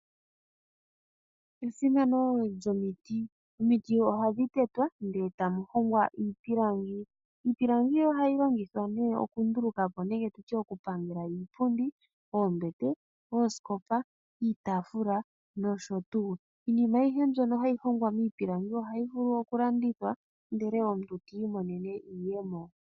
Esimano lyomiti Omiti ohadhi tetwa ndele ta mu hongwa iipilangi. Iipilangi ohayi longithwa nee okundulukapo nenge oku pangela iipundi, oombete, oosikopa, iitafula nosho tuu. Iinima ayihe mbyono hayi hongwa miipilangi ohayi vulu oku landithwa ndele omuntu ti imonene iiyemo.